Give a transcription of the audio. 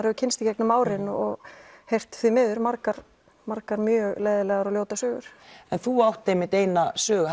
hef kynnst í gegnum árin og heyrt því miður margar margar leiðinlegar og ljótar sögur en þú átt eina sögu